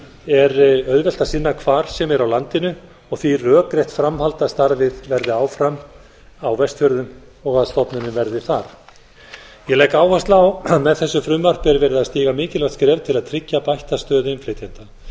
er auðvelt að sinna hvar sem er á landinu og því rökrétt framhald af starfið verði áfram á vestfjörðum og að stofnunin verði þar ég legg áherslu á að með þessu frumvarpi er verið að stíga mikilvægt skref til að tryggja bætta stöðu innflytjenda með